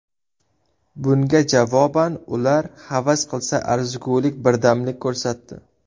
Bunga javoban ular havas qilsa arzigulik birdamlik ko‘rsatdi.